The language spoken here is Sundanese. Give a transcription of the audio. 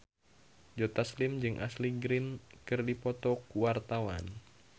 Joe Taslim jeung Ashley Greene keur dipoto ku wartawan